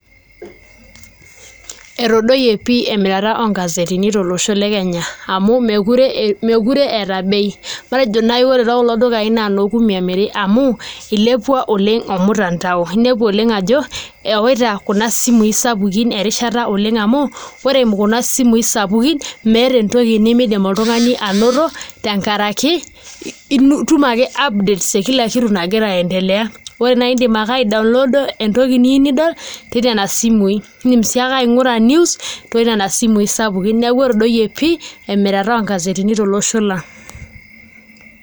Etodoyie pii emirata oongazetini tolosho le Kenya amu meekure eeta bei , matejo naai ore tekulo dukaai noo kumi emiri amu ilepua oleng' ormtandao ninepu oleng' ajo ewaita kuna simuui sapukin erishata oleng' amu ore eimu kuna simui sapukin meeta entoki nemiidim oltung'ani anoto tenkaraki itum ake updates e kila kitu nagira aiendelea ore naai iindim ake aidownloada entoki niyieu nidol ketii nena simui, iindim sii ake aing'ura news too nena simui sapukin neeku etadoyie pii emirata oongazetini tolosho lang'.